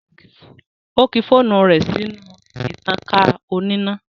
Ó kí fóònù rẹ̀ sínú ìtankà oníná